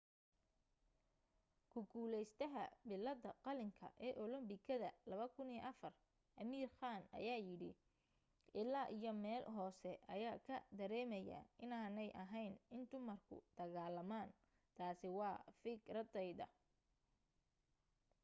ku guulaystaha billadda qalinka ee olambikadii 2004 amir khan ayaa yiri ilaa iyo meel hoose ayaa ka dareemayaa inaanay ahayn in dumarku dagaalamaan. taasi waa fikradayda.